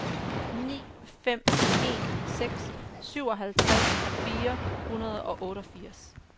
ni fem en seks syvoghalvtreds fire hundrede og otteogfirs